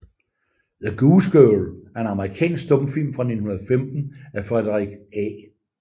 The Goose Girl er en amerikansk stumfilm fra 1915 af Frederick A